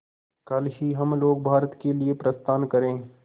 कल ही हम लोग भारत के लिए प्रस्थान करें